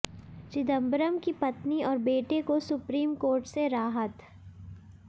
चिदंबरम की पत्नी और बेटे को सुप्रीम कोर्ट से राहत